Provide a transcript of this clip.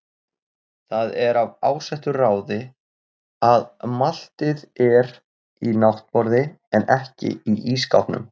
Það er af ásettu ráði að maltið er í náttborði en ekki í ísskápnum.